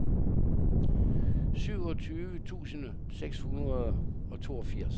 syvogtyve tusind seks hundrede og toogfirs